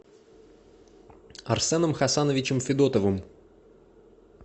арсеном хасановичем федотовым